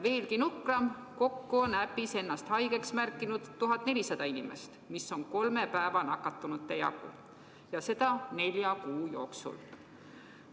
Veelgi nukram: kokku on äpis ennast haigeks märkinud 1400 inimest, mis on kolme päeva nakatunute jagu, ja seda nelja kuu jooksul.